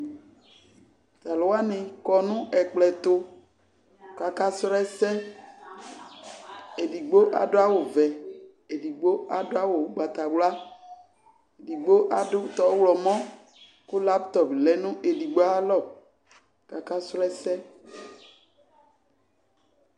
Tʋ alʋ wanɩ kɔ nʋ ɛkplɔ ɛtʋ kʋ akasrɔ ɛsɛ Edigbo adʋ awʋvɛ, edigbo adʋ awʋ ʋgbatawla, edigbo adʋ tʋ ɔɣlɔmɔ kʋ laptɔp lɛ nʋ edigbo ayalɔ kʋ akasrɔ ɛsɛ